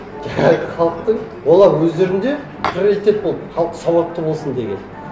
жаңағы халықтың олар өздерінде приоритет болды халық сауатты болсын деген